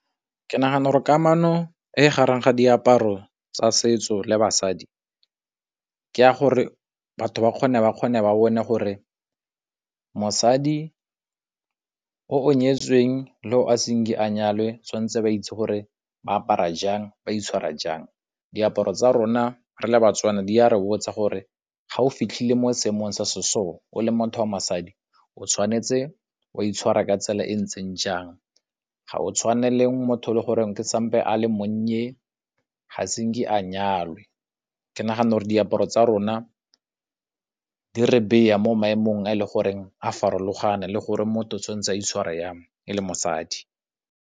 Ke nagana gore kamano e gareng ga diaparo tsa setso le basadi ke ya gore batho ba kgone ba bone gore mosadi o o nyetsweng le o a senke a nyalwe tshwan'tse ba itse gore ba apara jang, ba itshwara jang. Diaparo tsa rona re le ba-Tswana, di a re botsa gore ga o fitlhile mo seemong se se so o le motho wa mosadi o tshwanetse o a itshwara ka tsela e ntseng jang. Ga o tshwane le motho o le goreng sampe a le monnye ga senke a nyalwe. Ke nagana gore diaparo tsa rona di re beya mo maemong a e le goreng a farologane le gore motho tshwan'tse a itshware jang e le mosadi.